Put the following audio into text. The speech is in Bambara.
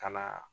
Ka na